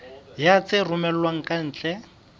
ya tse romellwang ka ntle